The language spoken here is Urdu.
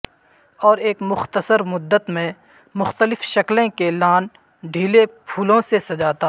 اور ایک مختصر مدت میں مختلف شکلیں کے لان ڈھیلے پھولوں سجاتا